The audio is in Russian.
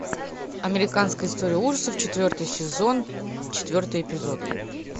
американская история ужасов четвертый сезон четвертый эпизод